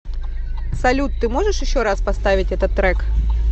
салют ты можешь еще раз поставить этот трек